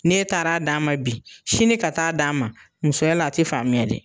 Ni e taara d'a ma bi, sini ka taa d'a ma, musoya la a te faamuya dɛ!